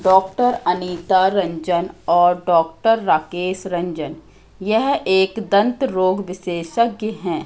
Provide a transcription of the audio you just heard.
Doctor Anita Ranjan और doctor Rakesh Ranjan यह एक दंत रोग विशेषज्ञ है।